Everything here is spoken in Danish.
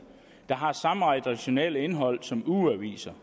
der har samme redaktionelle indhold som ugeaviser